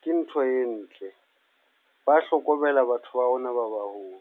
ke ntho e ntle. Ba hlokomela batho ba rona ba baholo.